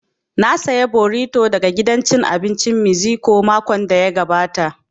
Na saya borito daga gidan cin abincin meziko makon da ya gabata